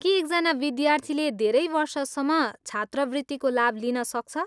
के एकजना विद्यार्थीले धेरै वर्षसम्म छात्रवृत्तिको लाभ लिन सक्छ?